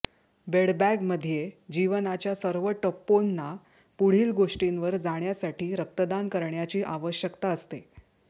बेडबॅगमध्ये जीवनाच्या सर्व टप्पेांना पुढील गोष्टींवर जाण्यासाठी रक्तदान करण्याची आवश्यकता असते